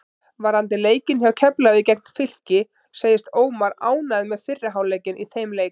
Varðandi leikinn hjá Keflavík gegn Fylki segist Ómar ánægður með fyrri hálfleikinn í þeim leik.